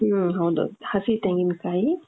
ಹ್ಮ್ ಹೌದು ಹಸಿ ತೆಂಗಿನಕಾಯಿ .